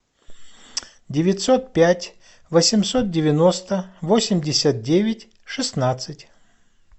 девятьсот пять восемьсот девяносто восемьдесят девять шестнадцать